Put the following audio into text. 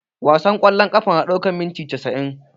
Wasan ƙwallon ƙafa na ɗaukan minti casa'in